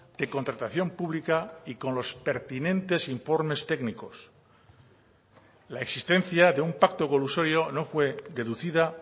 de contratación pública y con los pertinentes informes técnicos la existencia de un pacto colusorio no fue deducida